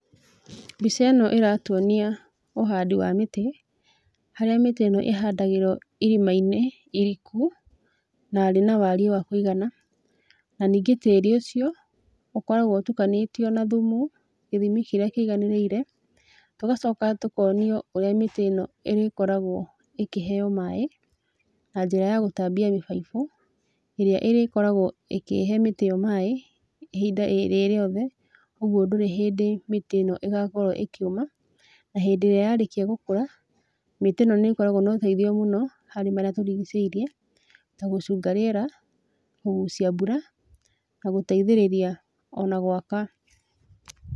Mbica ĩno ĩratuonia ũhandi wa mĩtĩ, harĩa mĩtĩ ĩno ĩhandagĩrwo irima-inĩ iriku, na rĩna wariĩ wa kwĩgana. Na ningĩ tĩĩri ũcio ũkoragwo ũtukanĩtio na thumu gĩthimi kĩrĩa kĩiganĩrĩire. Tũgacoka tũkonio ũrĩa mĩtĩ ĩno ĩrĩkoragwo ĩkĩheywo maaĩ na njĩra ya gũtambia mĩbaibu ĩrĩa ĩrĩkoragwo ĩkĩhe mĩtĩ ĩyo maaĩ ihinda ĩrĩ, rĩrĩothe, ũgwo ndũrĩ hĩndĩ mĩtĩ ĩno ĩgakorwo ĩkĩũma. Na hĩndĩ ĩrĩa yarĩkia gũkũra, mĩtĩ ĩno nĩkoragwo noteithio mũno harĩ marĩa tũrigicĩirie, ta gũcunga rĩera, kũgucia mbura, na gũteithĩrĩria ona gwaka.